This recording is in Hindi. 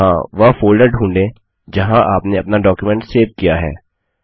यहाँ वह फोल्डर ढ़ूंढें जहाँ आपने अपना डॉक्युमेंट सेव किया है